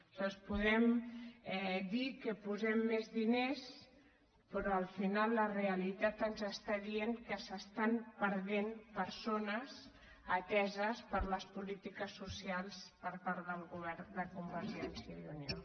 aleshores podem dir que hi posem més diners però al final la realitat ens està dient que s’estan perdent persones ateses per les polítiques socials per part del govern de convergència i unió